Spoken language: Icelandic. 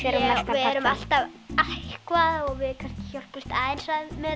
við erum alltaf eitthvað og hjálpumst aðeins að með